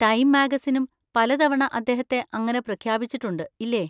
Time മാഗസിനും പലതവണ അദ്ദേഹത്തെ അങ്ങനെ പ്രഖ്യാപിച്ചിട്ടുണ്ട്, ഇല്ലേ?